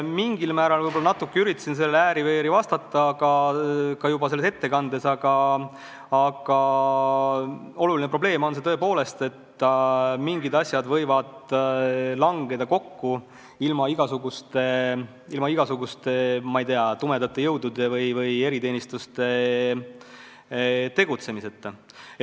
Mingil määral ma üritasin sellele ääri-veeri vastata ka oma ettekandes, aga oluline probleem on see tõepoolest, et mingid asjad võivad langeda kokku ilma igasuguste, ma ei tea, tumedate jõudude või eriteenistuste tegutsemiseta.